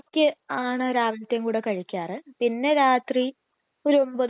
വേറെ എന്തും ഭക്ഷണങ്ങളാണ് ഇഷ്ട്ടം ആൻസിക്ക്